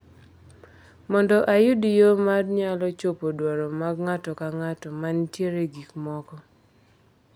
Mondo oyud yo ma nyalo chopo dwaro mag ng’ato ka ng’ato ma nitie e gik moko.